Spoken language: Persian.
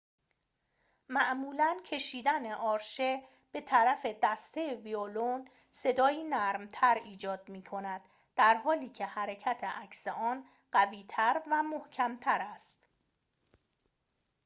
معمولاً کشیدن آرشه به‌طرف دسته ویولون صدایی نرمتر ایجاد می‌کند در‌حالی‌که حرکت عکس آن قوی‌تر و محکم‌تر است